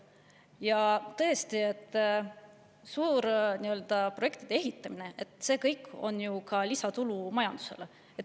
Ja tõesti, suur ehitamine – see kõik on ju ka lisatulu majandusele.